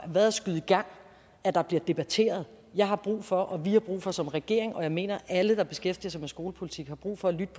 været at skyde i gang at der bliver debatteret jeg har brug for og vi har brug for som regering og jeg mener at alle der beskæftiger sig med skolepolitik har brug for at lytte